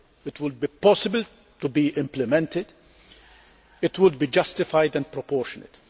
It would be possible to implement, and it would be justified and proportionate.